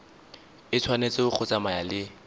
e tshwanetse go tsamaya le